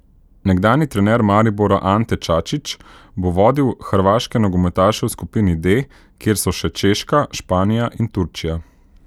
Nekdanji trener Maribora Ante Čačić bo vodil hrvaške nogometaše v skupini D, kjer so še Češka, Španija in Turčija.